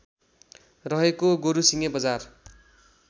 रहेको गोरुसिङे बजार